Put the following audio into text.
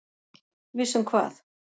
Viss um hvað?